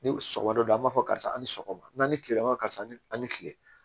Ni sɔgɔda an b'a fɔ karisa a ni sɔgɔma n'a ni kilela ma karisa ni a ni kile